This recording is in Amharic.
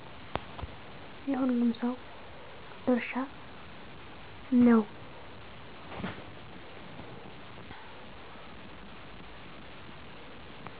የሁሉም ሰው ድርሻ ነው